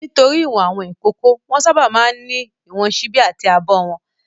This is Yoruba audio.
Nítorí ìwọ̀n àwọn ìkókó, wọ́n sábà máa ń ní ìwọ̀n ṣíbí àti abọ́ wọn.